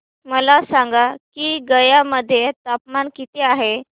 मला सांगा की गया मध्ये तापमान किती आहे